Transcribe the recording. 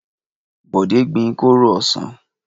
Bọ̀dé gbin kóró ọsàn.